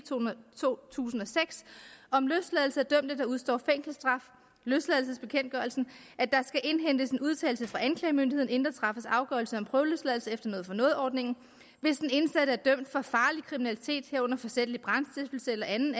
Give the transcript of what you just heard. to tusind og seks om løsladelse af dømte der udstår fængselsstraf at der skal indhentes en udtalelse fra anklagemyndigheden inden der træffes afgørelse om prøveløsladelse efter noget for noget ordningen hvis den indsatte er dømt for farlig kriminalitet herunder forsætlig brandstiftelse eller anden